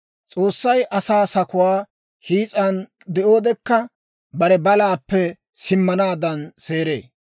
«S'oossay asaa sakuwaa hiis'an de'oodekka, bare balaappe simmanaadan seeree.